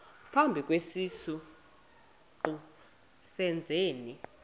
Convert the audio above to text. phambi kwesiqu sezenzi